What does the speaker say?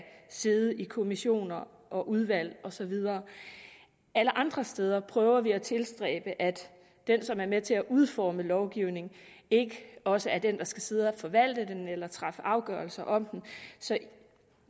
sidde i kommissioner og udvalg og så videre alle andre steder prøver vi at tilstræbe at den som er med til at udforme lovgivningen ikke også er den der skal sidde og forvalte den eller træffe afgørelser om den så